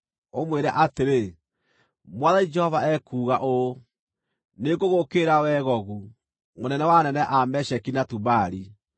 ũmwĩre atĩrĩ: ‘Mwathani Jehova ekuuga ũũ: Nĩngũgũũkĩrĩra, wee Gogu, mũnene wa anene a Mesheki na Tubali.